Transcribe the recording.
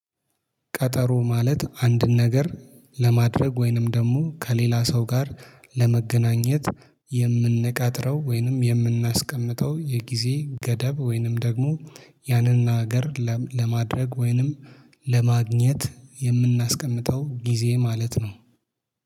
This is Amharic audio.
ቀጠሮ ማለት አንድን ነገር ለማድረግ ወይንም ደግሞ ከሌላ ሰው ጋር ለመገናኘት የምንቀጥረው ወይንም የምናስቀምጠው የጊዜ ገደብ ወይንም ደግሞ ያንን ነገር ለም ለማድረግ ወይንም ለማግኘት የምናስቀምጠው ጊዜ ማለት ነው